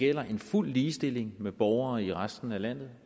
gælder en fuld ligestilling med borgere i resten af landet